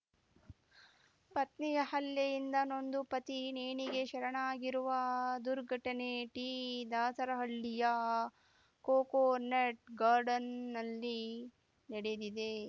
ಪತ್ನಿಯ ಹಲ್ಲೆಯಿಂದ ನೊಂದು ಪತಿ ನೇಣಿಗೆ ಶರಣಾಗಿರುವ ದುರ್ಘಟನೆ ಟಿ ದಾಸರಹಳ್ಳಿಯ ಕೊಕೊನಟ್ ಗಾರ್ಡನ್‌ನಲ್ಲಿ ನಡೆದಿದೆ